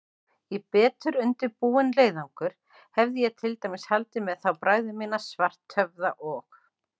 Í betur undirbúinn leiðangur hefði ég til dæmis haldið með þá bræður mína, Svarthöfða og